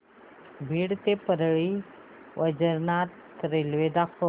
बीड ते परळी वैजनाथ रेल्वे दाखव